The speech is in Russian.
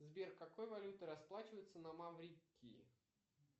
сбер какой валютой расплачиваются на маврикии